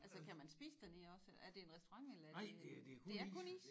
Altså kan man spise dernede også er det en restaurant eller er det det er kun is?